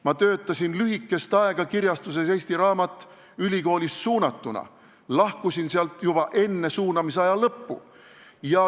Ma töötasin lühikest aega kirjastuses Eesti Raamat, kuhu mind oli suunatud ülikoolist, lahkusin sealt juba enne suunamisaja lõppu.